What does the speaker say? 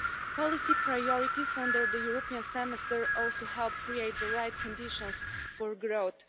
Policy priorities under the European Semester also help create the right conditions for growth.